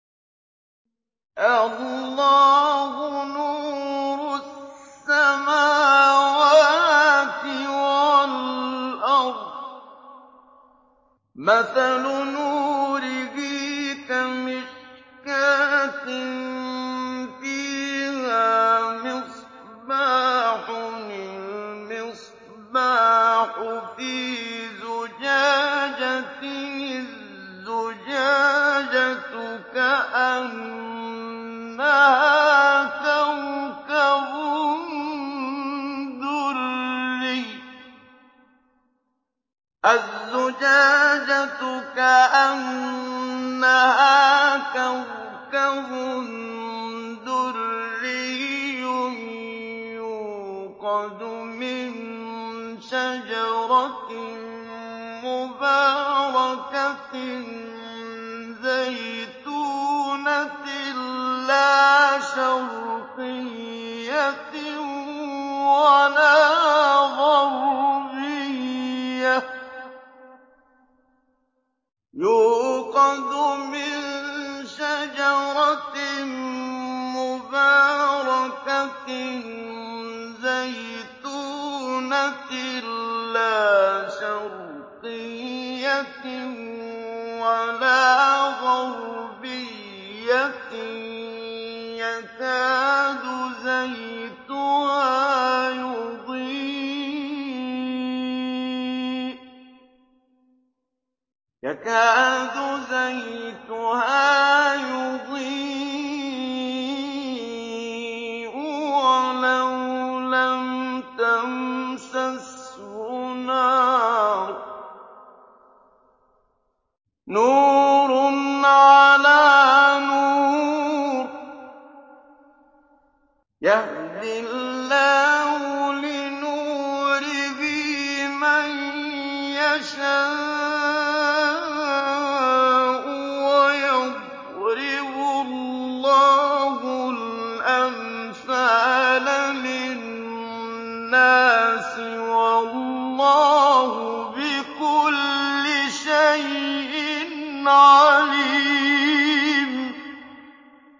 ۞ اللَّهُ نُورُ السَّمَاوَاتِ وَالْأَرْضِ ۚ مَثَلُ نُورِهِ كَمِشْكَاةٍ فِيهَا مِصْبَاحٌ ۖ الْمِصْبَاحُ فِي زُجَاجَةٍ ۖ الزُّجَاجَةُ كَأَنَّهَا كَوْكَبٌ دُرِّيٌّ يُوقَدُ مِن شَجَرَةٍ مُّبَارَكَةٍ زَيْتُونَةٍ لَّا شَرْقِيَّةٍ وَلَا غَرْبِيَّةٍ يَكَادُ زَيْتُهَا يُضِيءُ وَلَوْ لَمْ تَمْسَسْهُ نَارٌ ۚ نُّورٌ عَلَىٰ نُورٍ ۗ يَهْدِي اللَّهُ لِنُورِهِ مَن يَشَاءُ ۚ وَيَضْرِبُ اللَّهُ الْأَمْثَالَ لِلنَّاسِ ۗ وَاللَّهُ بِكُلِّ شَيْءٍ عَلِيمٌ